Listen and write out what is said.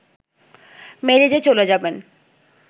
মেরে যে চলে যাবেন